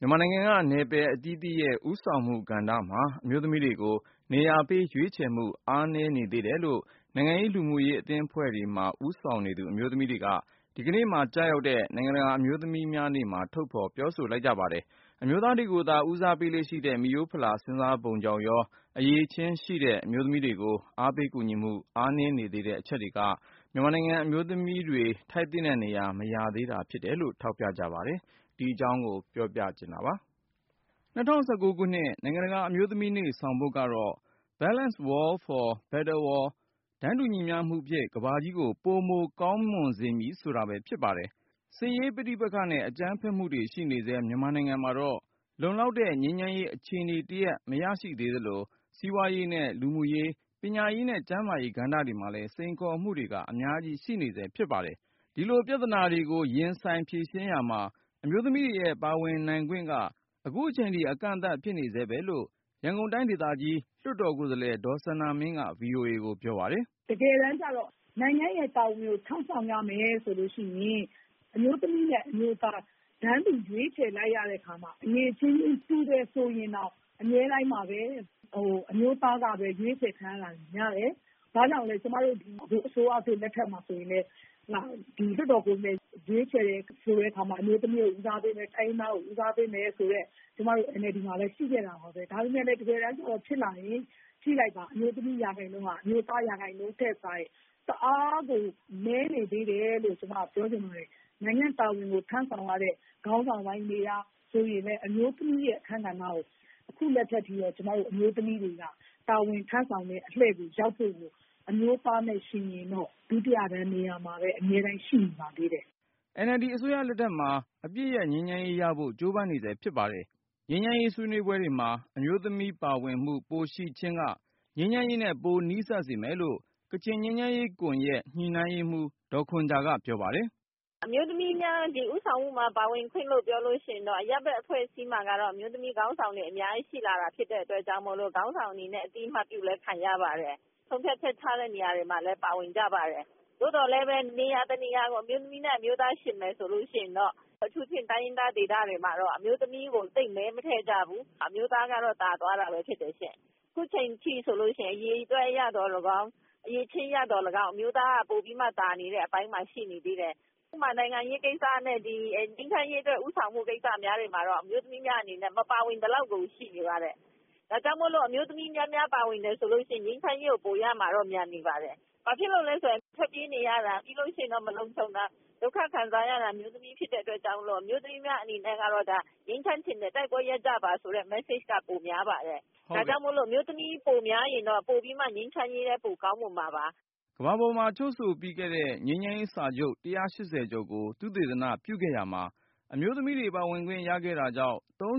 မြန်မာနိုင်ငံက နယ်ပယ်အသီးသီးရဲ့ ဦးဆောင်မှုကဏ္ဍမှာ အမျိုးသမီးတွေကို နေရာပေး ရွေးချယ်မှု အားနည်းနေသေးတယ်လို့ နိုင်ငံရေး၊ လူမှုရေး အသင်းအဖွဲ့တွေမှာ ဦးဆောင်နေသူ အမျိုးသမီးတွေက ဒီကနေ့ကျရောက်တဲ့ နိုင်ငံတကာ အမျိုးသမီးများနေ့မှာ ထုတ်ဖေါ်ပြောဆို လိုက်ကြပါတယ်။ အမျိုးသားတွေကိုသာ ဦးစားပေးလေ့ရှိတဲ့ မိရိုး ဖလာ စဉ်းစားပုံကြောင့်ရော၊ အရည်အချင်းရှိတဲ့ အမျိုးသမီးတွေကို အားပေး ကူညီမှု အားနည်းနေသေးတဲ့ အချက်တွေက မြန်မာနိုင်ငံက အမျိုးသမီးတွေ ထိုက်သင့်တဲ့နေရာ မရသေးတာဖြစ်တယ်လို့ ထောက်ပြကြပါတယ်။ ကိုဉာဏ်ဝင်းအောင်က စုစည်းတင်ပြထားပါတယ်။ ၂၀၁၉ ခုနှစ် နိုင်ငံတကာ အမျိုးသမီးများနေ့ ဆောင်ပုဒ်ကတော့ ‘Balanced world for better world’ “တန်းတူညီမျှမှုဖြင့် ကမ္ဘာကြီးကို ပိုမို ကောင်းမွန်စေမည်” ဆိုတာပဲဖြစ်ပါတယ်။ စစ်ရေးပဋိပက္ခနဲ့ အကြမ်းဖက်မှုတွေရှိနေဆဲ မြန်မာနိုင်ငံမှာတော့ လုံလောက်တဲ့ ငြိမ်းချမ်းရေးအခြေအနေတရပ် မရသေးသလို၊ စီပွားရေးနဲ့ လူမှုရေး၊ ပညာရေးနဲ့ ကျန်းမာရေးကဏ္ဍတွေမှာလည်း စိန်ခေါ်မှုတွေက အများကြီးရှိနေဆဲ ဖြစ်ပါတယ်။ ဒီလိုပြဿနာတွေကို ရင်ဆိုင်ဖြေရှင်း ရာမှာ အမျိုးသမီးတွေရဲ့ ပါဝင်နိုင်ခွင့်က အခုချိန်ထိ အကန့်အသတ်ဖြစ်နေဆဲပဲလို့ ရန်ကုန်တိုင်းဒေသကြီး လွှတ်တော်ကိုယ်စားလှယ် ဒေါ်စန္ဒာမင်းက VOA ကိုပြောပါတယ်။ "တကယ်တမ်းကျတော့ နိုင်ငံ့တာဝန်ကို ထမ်းဆောင်ရမယ်ဆိုရင် အမျိုးသမီးနဲ့ အမျိုးသား တန်းတူ ရွေးချယ်လိုက်ကြတဲ့အခါမှာ အရည်အချင်း တူတယ်ဆိုရင်တောင်မှ အမြဲတမ်းပဲ အမျိုးသားက ရွေးချယ်ခံရတာများတယ်။ ဒါကြောင့်လည်း အစိုးရသစ် လက်ထက်မှာ ဆိုရင်လည်း လွှတ်တော်ကိုယ်စားလှယ် ရွေးချယ်တဲ့အခါမှာ အမျိုးသမီးကို ဦးစားပေးမယ်၊ တိုင်းရင်းသားကို ဦးစားပေးမယ်ဆိုတာ ကျမတို့ NLD မှာ ရှိခဲ့ပါတယ်။ ဒါပေမဲ့ တကယ်တမ်းကျတော့ ဖြစ်လာရင် ကြည့်လိုက်ပါ၊ အမျိုးသမီးရာခိုင်နှုန်းဟာ အမျိုးသားရာခိုင်နှုန်းထက် တအား နည်းနေသေးတယ်လို့ ကျမပြောချင်ပါတယ်။ နိုင်ငံတာဝန်ကို ထမ်းဆောင်ရတဲ့ ခေါင်းဆောင်ပိုင်း နေရာပိုင်းဆိုရင်လည်း အမျိုးသမီး အခန်းကဏ္ဍကို အခုထိတော့ ကျမတို့ အမျိုးသမီးတွေက တာဝန်ထမ်းဆောင်တဲ့အလှည့်ကို ရောက်ဖို့ အမျိုးသားနဲ့ ယှဉ်ရင်တော့ ဒုတိယတန်းနေရာမှာပဲ အမြဲတမ်းရှိနေပါသေးတယ်။" NLD အစိုးရလက်ထက်မှာ အပစ်ရပ်ငြိမ်းချမ်းရေးရဖို့ ကြိုပမ်းနေဆဲဖြစ်ပါတယ်။ ငြိမ်းချမ်းရေးဆွေးနွေးပွဲတွေမှာ အမျိုးသမီးပါဝင်မှု ပိုရှိခြင်းက ငြိမ်းချမ်းရေးနဲ့ ပိုနီးစပ်စေမယ်လို့ ကချင်ငြိမ်းချမ်းရေးကွန်ယက် ညှိနှိုင်းရေးမှူး ဒေါ်ခွန်ဂျာက ပြောပါတယ်။ "အမျိုးသမီးများ ဦးဆောင်မှုမှာ ပါဝင်ခွင့်လို့ ပြောမယ်ဆိုရင် အရပ်ဖက်အဖွဲ့အစည်းမှာတော့ အမျိုးသမီးခေါင်းဆောင်တွေ အများကြီးရှိလာတာ ဖြစ်တဲ့အတွက် ခေါင်းဆောင်အနေနဲ့ အသိအမှတ်ပြုတာလည်း ခံရပါတယ်။ ဆုံးဖြတ်ချက် ချတဲ့နေရာတွေမှာလည်း ပါဝင်ကြပါတယ်။ သို့သော်လည်း နေရာတနေရာကို အမျိုးသမီးနဲ့ အမျိုးသားယှဉ်မယ်ဆိုရင် အထူးသဖြင့် တိုင်းရင်းသားဒေသတွေမှာ အမျိုးသမီးကို သိပ် မဲမထည့်ကြဘူး။ အမျိုးသားကတော့ သာသွားတာပဲ ဖြစ်တယ်ရှင့်။ အခုအချိန်အထိဆိုရင် အရေအတွက်အရသော်လည်းကောင်း အရည်အချင်း အရသော်လည်းကောင်း အမျိုးသားကတော့ ပိုပြီးမှသာနေတဲ့ အပိုင်းမှာ ရှိနေသေးတယ်။ ဥပမာ နိုင်ငံရေးကိစ္စနဲ့ ငြိမ်းချမ်းရေးအတွက် ဦးဆောင်မှုကိစ္စတွေမှာတော့ အမျိုးသမီးများအနေနဲ့ မပါဝင်သလောက်ကို ရှိနေပါတယ်။ ဒါကြောင့်မိုလို့ အမျိုးသမီး များများ ပါဝင်လာမယ်ဆိုရင် ငြိမ်းချမ်းရေးကို ပိုရမှာပါ။ ဘာဖြစ်လို့လဲဆိုတော့ ထွက်ပြေးနေရတာ၊ မလုံခြုံတာ ဒုက္ခခံစားနေရတာ အမျိုးသမီး ဖြစ်တဲ့အတွက်ကြောင့် အမျိုးသမီးများအနေနဲ့ကတော့ ငြိမ်းချမ်းချင်တယ် တိုက်ပွဲရပ်ပါဆိုတဲ့ message က ပိုများပါတယ်။ ဒါကြောင့် အမျိုးသမီး ပိုများရင်တော့ ငြိမ်းချမ်းရေးလည်း ပိုကောင်းမွန်မှာပါ။" ကမ္ဘာပေါ်မှာ ချုပ်ဆိုပြီးခဲ့တဲ့ ငြိမ်းချမ်းရေးစာချုပ် ၁၈၀ ကျော်ကို သုတေသနပြုခဲ့ရာမှာ အမျိုးသမီးတွေ ပါဝင်ခွင့်ရခဲ့တာကြောင့် ၃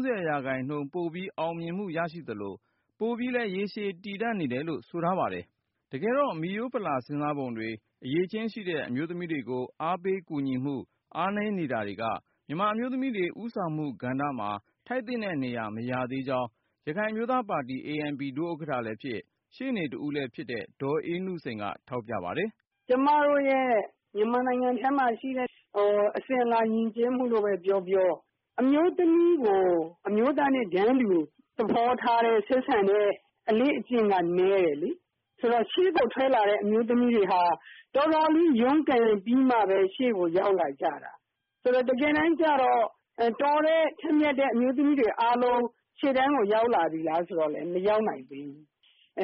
၀% ပိုပြီး အောင်မြင်မှုရသလို၊ ပိုပြီးလည်း ရေရှည်တည်တန့်တယ်လို့ ဆိုထားပါတယ်။ တကယ်တော့ မိရိုးဖလာစဉ်းစားပုံတွေ၊ အရည်အချင်းရှိတဲ့ အမျိုးသမီးတွေကို အားပေးကူညီမှု အားနည်းနေတာတွေက မြန်မာအမျိုးသမီးတွေ ဦးဆောင်မှုကဏ္ဍမှာ ထိုက်သင့်တဲ့နေရာ မရသေးကြောင်း ရခိုင်အမျိုးသားပါတီ ANP ဒုဥက္ကဌလည်းဖြစ်၊ ရှေ့နေတဦးလည်းဖြစ်တဲ့ ဒေါ်အေးနုစိန်က ထောက်ပြပါတယ်။ " ကျမတို့ရဲ့ မြန်မာနိုင်ငံထဲမှာရှိတဲ့ အစဉ်အလာယဉ်ကျေးမှုလို့ပဲပြောပြော အမျိုးသမီးကို အမျိုးသားနဲ့ တန်းတူသဘောထားတဲ့ ဆက်ဆံတဲ့ အလေ့အကျင့်က နည်းတယ်လေ။ ဆိုတော့ ရှေ့ကိုထွက်လာတဲ့ အမျိုးသမီးတွေဟာ တော်တော်လေး ရုန်းကန်ပြီးမှပဲ ရှေ့ကို ရောက်လာကြတာ။ ဆိုတော့ တကယ်တမ်းကျတော့ တော်တဲ့ ထက်မြတ်တဲ့ အမျိုးသမီးတွေအားလုံး ရှေ့တန်းကို ရောက်လာပြီလား ဆိုတော့လည်း မရောက်နိုင်သေးဘူး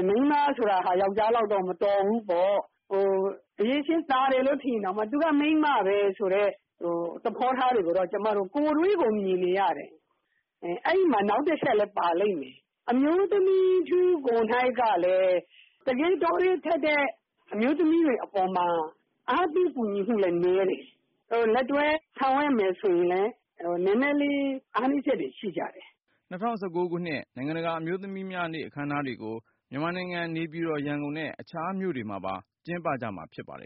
။ မိန်းမဆိုတာက ယောင်္ကျားလောက်တော့ မတော်ဘူးပေါ့ ။ အရည်အချင်း သာတယ်ဆိုရင်တောင်မှ သူကမိန်းမပဲ ဆိုတဲ့ သဘောထားတွေကို ကျမတို့ ကိုယ်တွေ့မြင်နေရတယ် အဲဒီမှာ နောက်တချက်လည်း ပါမယ်။ အမျိုးသမီးထု ကိုယ်တိုင်ကလည်း တကယ်တော်တဲ့ ထက်မြတ်တဲ့ အမျိုးသမီးတွေအပေါ်မှာ အားပေးကူညီမှုလည်း နည်းတယ်။ လက်တွဲ ဆောင်ရွက်မယ်ဆိုရင်လည်း နည်းနည်းလေး အားနည်းချက်တွေရှိကြတယ်။" ၂၀၁၉ ခုနှစ် နိုင်ငံတကာ အမျိုးသမီးများနေ့ အခမ်းအနားတွေကို မြန်မာနိုင်ငံ နေပြည်တော်၊ ရန်ကုန်နဲ့ အခြားမြို့တွေမှာပါ ကျင်းပကြမှာ ဖြစ်ပါတယ်